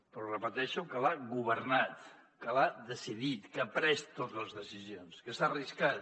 però repeteixo que l’ha governat que ha decidit que ha pres totes les decisions que s’ha arriscat